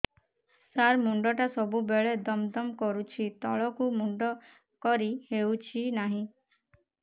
ସାର ମୁଣ୍ଡ ଟା ସବୁ ବେଳେ ଦମ ଦମ କରୁଛି ତଳକୁ ମୁଣ୍ଡ କରି ହେଉଛି ନାହିଁ